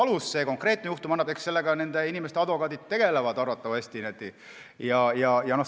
Kas sellel konkreetsel juhtumil selleks piisavalt alust on, eks selle otsustamisega tegelevad arvatavasti nende inimeste advokaadid.